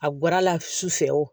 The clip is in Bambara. A bɔr'a la sufɛ o